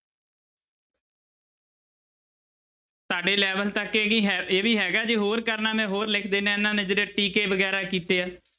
ਤੁਹਾਡੇ level ਤੱਕ ਇਹ ਹੀ ਹੈ ਇਹ ਵੀ ਹੈਗਾ, ਜੇ ਹੋਰ ਕਰਨਾ ਮੈਂ ਹੋਰ ਲਿਖ ਦਿਨਾ ਇਹਨਾਂ ਨੇ ਜਿਹੜੇ ਟੀਕੇ ਵਗ਼ੈਰਾ ਕੀਤੇ ਆ।